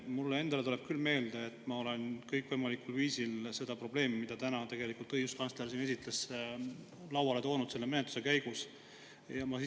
Mulle endale tuleb küll meelde, et ma olen kõikvõimalikul viisil seda probleemi, mida täna tegelikult õiguskantsler siin esitles, selle menetluse käigus lauale toonud.